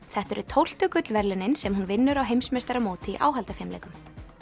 þetta eru tólftu gullverðlaunin sem hún vinnur á heimsmeistaramóti í áhaldafimleikum